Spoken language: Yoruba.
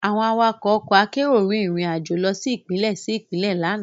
Àwọn awakọ̀ ọkọ akérò rìn rìn àjò lọ sí Ìpínlẹ̀ sí Ìpínlẹ̀ lánàá